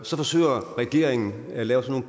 så forsøger regeringen at lave sådan